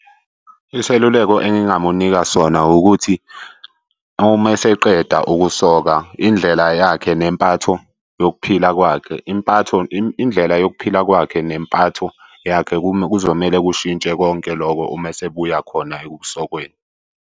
Iseluleko engingamunika sona ukuthi uma eseqeda ukusoka indlela yakhe nempatho yokuphila kwakhe. Impatho, indlela yokuphila kwakhe nempatho yakhe. kuzomele kushintshe konke lokho uma esebuya khona ekusokweni.